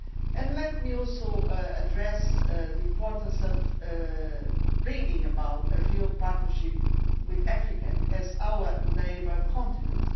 and let me also address the importance of bringing about a real partnership with Africa as our neighbour continent.